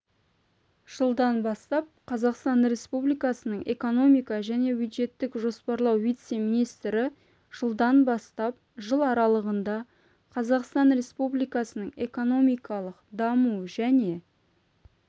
жылдан бастап қазақстан республикасының экономика және бюджеттік жоспарлау вице-министрі жылдан бастап жыл аралығында қазақстан республикасының экономикалық даму және